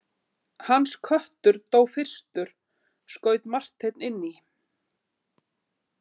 Hans köttur dó fyrstur, skaut Marteinn inn í.